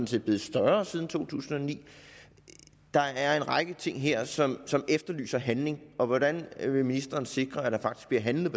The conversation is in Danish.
set blevet større siden to tusind og ni der er en række ting her som som efterlyser handling hvordan vil ministeren sikre at der faktisk bliver handlet